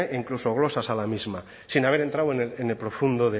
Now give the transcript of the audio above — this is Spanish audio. incluso glosas a la misma sin haber entrado en el profundo